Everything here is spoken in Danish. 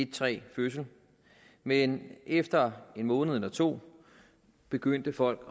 træg fødsel men efter en måned eller to begyndte folk